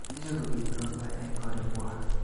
Icheru bik ropta en korik kwak